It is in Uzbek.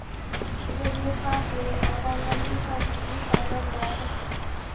Kishida befarqlik, odamlarga ishonchsizlik paydo bo‘ladi.